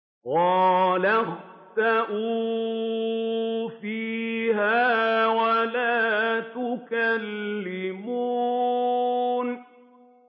قَالَ اخْسَئُوا فِيهَا وَلَا تُكَلِّمُونِ